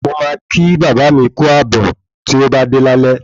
Mo máa kí bàbá mi kú ààbò ti ọ bá dé lálé